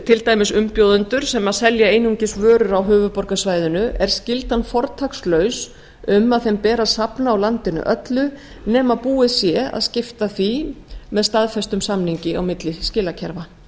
til dæmis umbjóðendur sem selji einungis vörur á höfuðborgarsvæðinu er skyldan fortakslaus um að þeim beri að safna á landinu öllu nema búið sé að skipta því með staðfestum samningi milli skilakerfa